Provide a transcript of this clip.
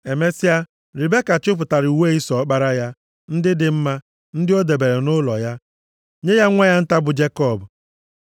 Emesịa, Ribeka chịpụtara uwe Ịsọ ọkpara ya, ndị dị mma, ndị ọ debere nʼụlọ ya, nye ya nwa ya nta bụ Jekọb.